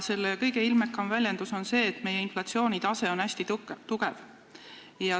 Selle kõige ilmekam väljendus on see, et meie inflatsioonitase on hästi kõrge.